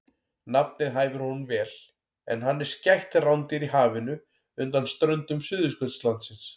Nafnið hæfir honum vel en hann er skætt rándýr í hafinu undan ströndum Suðurskautslandsins.